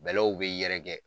Bɛlɛw bɛ yɛrɛkɛ.